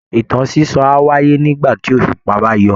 Ìtàn sísọ á wáyé nígbà tí òṣùpá bá yọ